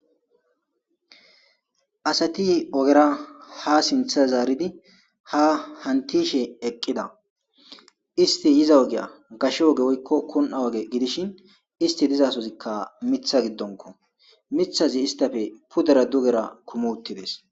Assati ogera ha sinththa zaridi haa hantiishshe eqqidda istti yiza ogiya gashshe woykko kun'e oge gidishshin issti dizassozikka miththa giddonkko miiththati isttappe pudera dugera kuumi uttidees